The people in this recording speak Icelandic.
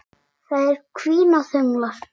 Þær hvína þöglar.